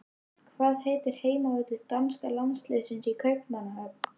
Hvað heitir heimavöllur danska landsliðsins í Kaupmannahöfn?